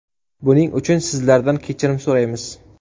Buning uchun sizlardan kechirim so‘raymiz.